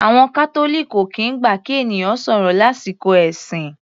Àwọn Catholic ò kìí gbà kí ènìyàn sọ̀rọ̀ lásìkò ẹ̀sìn.